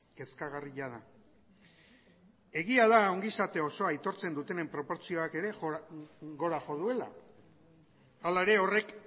kezkagarria da egia da ongizate osoa aitortzen dutenen proportzioak ere gora jo duela hala ere horrek